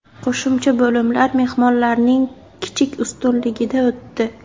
Qo‘shimcha bo‘limlar mehmonlarning kichik ustunligida o‘tdi.